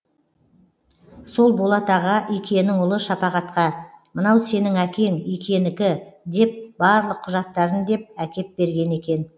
сол болат аға икенің ұлы шапағатқа мынау сенің әкең икенікі деп барлық құжаттарын деп әкеп берген екен